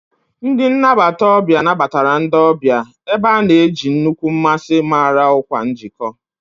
Ndị nnabata ọbịa nabatara ndị ọbịa, ebe a na-eji nnukwu mmasị mara ọkwa njikọ.